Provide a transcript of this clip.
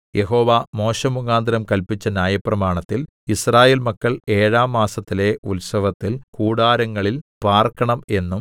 യഹോവ മോശെമുഖാന്തരം കല്പിച്ച ന്യായപ്രമാണത്തിൽ യിസ്രായേൽ മക്കൾ ഏഴാം മാസത്തിലെ ഉത്സവത്തിൽ കൂടാരങ്ങളിൽ പാർക്കണം എന്നും